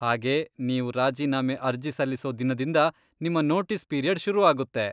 ಹಾಗೇ ನೀವು ರಾಜೀನಾಮೆ ಅರ್ಜಿ ಸಲ್ಲಿಸೋ ದಿನದಿಂದ ನಿಮ್ಮ ನೋಟೀಸ್ ಪೀರಿಯಡ್ ಶುರು ಆಗುತ್ತೆ.